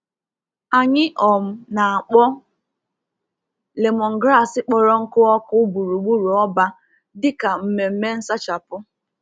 Anyị um na-akpọ lemongrass kpọrọ nkụ ọkụ gburugburu ọba dị ka mmemme nsachapụ